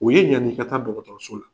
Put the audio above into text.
O ye ɲan'i ka taa dɔgɔtɔrɔso la.